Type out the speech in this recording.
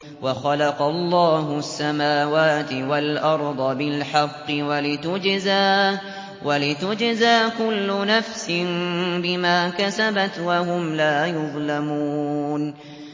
وَخَلَقَ اللَّهُ السَّمَاوَاتِ وَالْأَرْضَ بِالْحَقِّ وَلِتُجْزَىٰ كُلُّ نَفْسٍ بِمَا كَسَبَتْ وَهُمْ لَا يُظْلَمُونَ